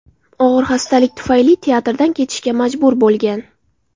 Og‘ir xastalik tufayli teatrdan ketishga majbur bo‘lgan.